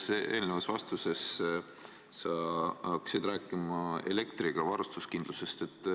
Ühes eelnevas vastuses sa hakkasid rääkima elektrivarustuskindlusest.